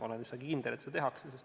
Olen üsna kindel, et seda tehakse.